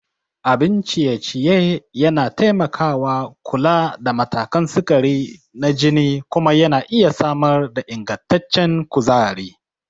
Abun ciye-ciye yana taimakawa kula da matakan sukari na jini kuma yana iya samar da ingantaccen kuzari.